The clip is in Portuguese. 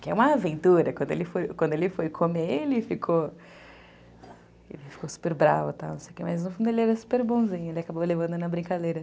Que é uma aventura, quando ele foi comer, ele ficou super bravo, mas no fundo ele era super bonzinho, ele acabou levando na brincadeira.